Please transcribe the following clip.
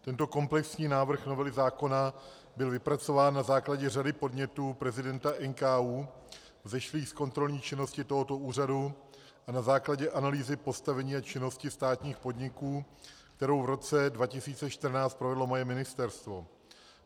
Tento komplexní návrh novely zákona byl vypracován na základě řady podnětů prezidenta NKÚ vzešlých z kontrolní činnosti tohoto úřadu a na základě analýzy postavení a činnosti státních podniků, kterou v roce 2014 provedlo moje ministerstvo.